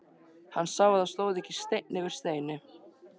Hann sá að það stóð ekki steinn yfir steini.